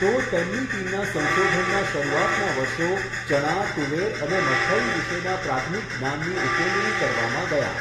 તો, તેમની ટીમના સંશોધનનાં શરૂઆતનાં વર્ષો ચણા, તુવેર અને મગફળી વિશેના પ્રાથણિક જ્ઞાનની ઉકેલણી કરવામાં ગયાં.